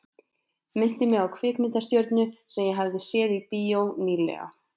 Minnti mig á kvikmyndastjörnu sem ég hafði séð í bíó ný- lega.